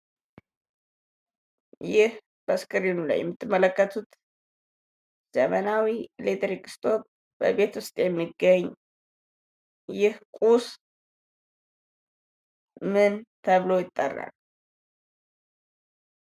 ይህ በስክሪኑ ላይ የምትመለከቱት ዘመናዊ ኤሌክትሪክ ስቶቭ በቤት ዉስጥ የሚገኝ። ይህ ቁስ ምን ተብሎ ይጠራል?